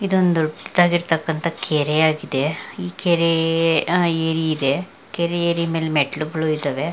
ಇದೊಂದ್ ದೊಡ್ಡ್ ಆಗಿರ್ತಕ್ಕಂತ ಕೆರೆಯಾಗಿದೆ ಈ ಕೆರೆ ಅಹ್ ಏರಿ ಇದೆ ಕೆರೆ ಏರಿ ಮೆಲ್ ಮೆಟ್ಲು ಗಳು ಇದಾವೆ.